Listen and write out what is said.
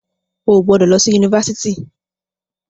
O ò gbọdọ̀ lọ sí Yunifásitì.